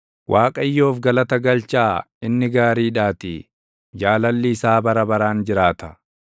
Waaqayyoof galata galchaa; inni gaariidhaatii. Jaalalli isaa bara baraan jiraata.